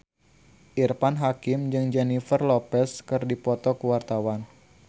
Irfan Hakim jeung Jennifer Lopez keur dipoto ku wartawan